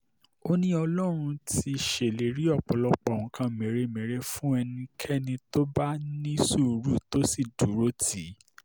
ó ní ọlọ́run ti ṣèlérí ọ̀pọ̀lọpọ̀ nǹkan mèremère fún ẹnikẹ́ni tó bá ní sùúrù tó sì dúró tì í